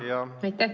Jah.